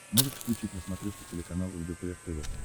можешь включить на смотрешке телеканал лдпр тв